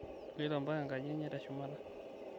iloto mpaka enkaji enye teshumata